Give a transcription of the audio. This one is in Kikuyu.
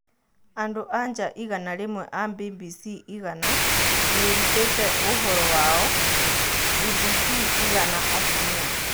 Andũ-a-nja igana rĩmwe a Mbimbisi Igna nĩĩrutĩte ũhũro wayo #Mbimbisi-Igana-Atumia.